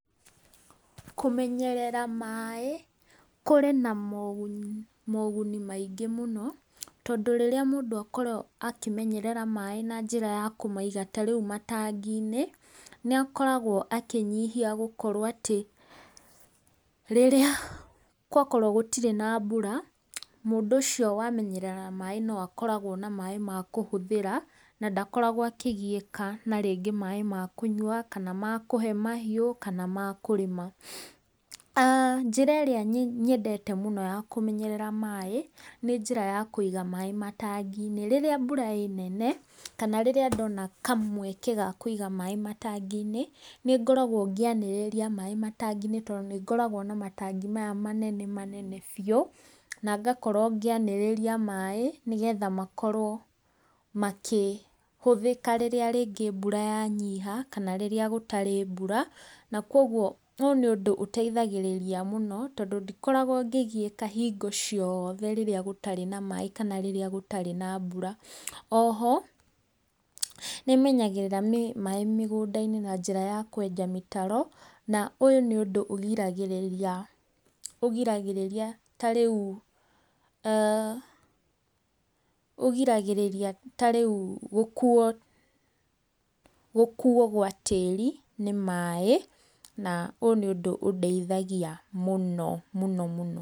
Kũmenyerera maaĩ kũrĩ na maguni maingĩ mũno, tondũ rĩrĩa mũndũ akorwo akĩmenyerera maaĩ na njĩra ya kũmaiga ta reu matangi-inĩ, nĩ akoragwo akĩnyihia gũkorwo atĩ rĩrĩa gwakorwo gũtirĩ na mbura, mũndũ ũcio wamenyerera maaĩ no akoragwo na maaĩ ma kũhũthĩra, na ndakoragwo akĩgiyĩka na rĩngĩ maaĩ ma kũnyua, kana ma kũhe mahiũ, kana ma kũrĩma. Njĩra ĩrĩa nyendete mũno ya kũmenyerera maaĩ nĩ njĩra ya kũiga maaĩ matangi-inĩ rĩrĩa mbura ĩnene, kana rĩrĩa ndona kamweke ga kũiga maaĩ matangi-inĩ, nĩ ngoragwo ngĩanĩrĩria maaĩ matangi-inĩ tondũ nĩ ngoragwo na matangi maya manene manene biũ, na ngakorwo ngĩanĩrĩria maaĩ nĩgetha makorwo makĩhũthĩka rĩrĩa rĩngĩ mbura ya nyiha, kana rĩrĩa gũtarĩ mbura .Na koguo ũũ nĩ ũndũ ũteithagĩrĩria mũno tondũ ndikoragwo ngĩgiĩka hingo cioothe rĩrĩa gũtarĩ na maaĩ, kana rĩrĩa gũtarĩ na mbura. Oho nĩ menyagĩrĩra maaĩ mĩgũnda-inĩ na njĩra ya kwenja mĩtaro, na ũyũ nĩ ũndũ ũgĩragĩrĩria ta rĩu gũkuo gwa tĩri nĩ maaĩ, na ũyũ nĩ ũndũ ũndeithagia mũno mũno.